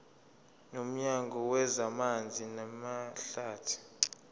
nomnyango wezamanzi namahlathi